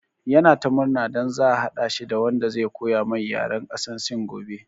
Ya na ta murna don za a haɗa shi da wanda zai koya mai yaran ƙasan sin gobe